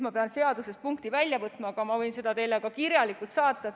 Ma pean seadusest selle punkti välja otsima, aga ma võin vastuse teile ka kirjalikult saata.